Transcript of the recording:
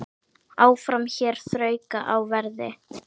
Áfram hér þrauka á verði.